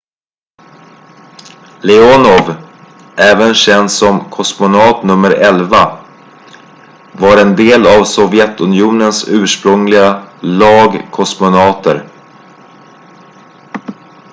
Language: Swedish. "leonov även känd som "kosmonaut nummer 11" var en del av sovjetunionens ursprungliga lag kosmonauter.